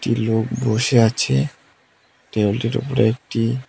একটি লোক বসে আছে টেবিলটির উপরে একটি--